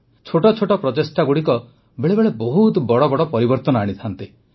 ଛୋଟ ଛୋଟ ପ୍ରଚେଷ୍ଟାଗୁଡ଼ିକ ବେଳେ ବେଳେ ବହୁତ ବଡ଼ ବଡ଼ ପରିବର୍ତ୍ତନ ଆଣିଥାନ୍ତି